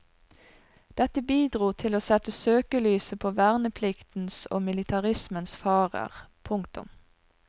Dette bidro til å sette søkelyset på vernepliktens og militarismens farer. punktum